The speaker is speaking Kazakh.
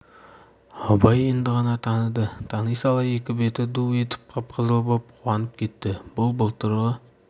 абай енді ғана таныды тани сала екі беті ду етіп қып-қызыл боп қуанып кетті бұл былтырғы